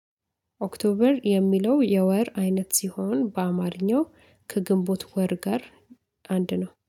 ኦክቶበር የሚለው የወር አይነት ሲሆን በአማርኛው ከግንቦት ወር ጋር አንድ ነው